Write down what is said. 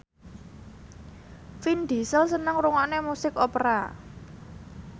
Vin Diesel seneng ngrungokne musik opera